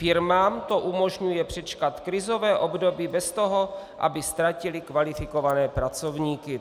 Firmám to umožňuje přečkat krizové období bez toho, aby ztratily kvalifikované pracovníky.